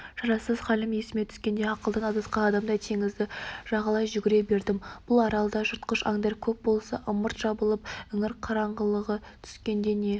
шарасыз халім есіме түскенде ақылдан адасқан адамдай теңізді жағалай жүгіре бердім бұл аралда жыртқыш аңдар көп болса ымырт жабылып іңір қараңғылығы түскенде не